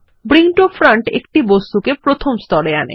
bring to front একটা বস্তুকে প্রথম স্তরে আনে